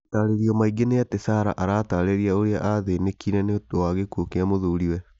Matarĩrio mangĩ nĩ atĩ sarah aratararĩria ũrĩa athĩnĩkire ni ũndũ wa gĩkuũ kia muthuri we